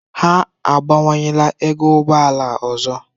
Ha abawanyela ego ụgbọ ala ọzọ.